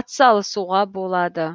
атсалысуға болады